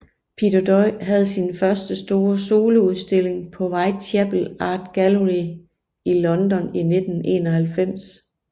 Peter Doig havde sin første store soloudstilling på Whitechapel Art Gallery i London i 1991